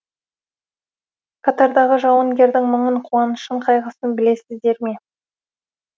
қатардағы жауынгердің мұңын қуанышын қайғысын білесіздер ме